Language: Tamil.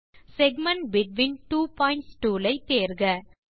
segment between two points tool ஐ தேர்க